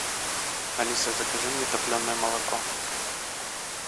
алиса закажи мне топленое молоко